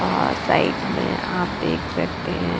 आ side में आप देख सकते हैं।